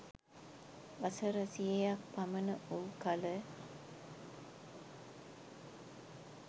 වසර සියයක් පමණ වූ කළ